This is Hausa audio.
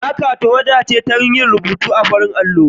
Maka tawada ce don rubutu akan farar allo.